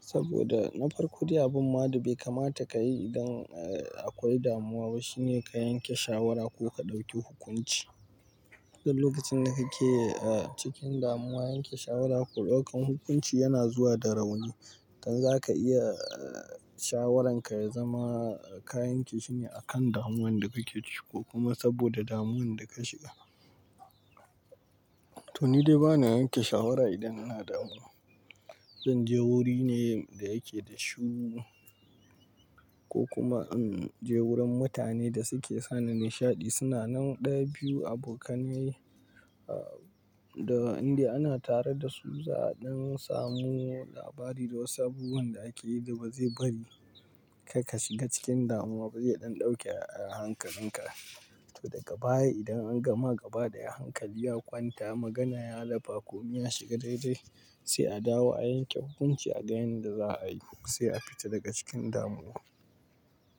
saboda na farko, dai bin wadi bai kamata ka yi idan, eh, akwai damuwa ba. Shine ka yanke shawara ko ka ɗauki hukunci. Ko lokacin da kake, eh, cikin damuwa yanke shawara ko ɗaukan hukunci yana zuwa da rauni. Don haka za ka iya, eh, shawaranka ya zama kayanke shine a kan damuwan da kake ciki ko kuma saboda damuwan da ka shiga. To ni dai bana yanke shawara idan ina damuwa. Zan je wuri ne da yake da shiru ko kuma in je wurin mutane da suke sani nishaɗi. Suna nan ɗa biyu abokanai, ah, da inda ana tare da su za'a don samu labari da wasu abubuwan da ake yi da ba zai bari ka ka shiga cikin damuwa ba. Zai iya ɗan ɗauke hankalinka. To daga baya idan an gama gaba daya, hankali ya kwanta, magana ya lafa ko miya ya shiga daidai sai a dawo a yanke hukunci a ga yanda za a yi ko sai a fita daga cikin damuwa.